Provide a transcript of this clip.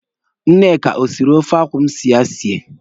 Nneka ọ siri ofe akwụ m si ya sie?